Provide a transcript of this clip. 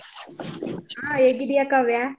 ಹಾ ಹೇಗಿದ್ದೀಯ ಕಾವ್ಯ?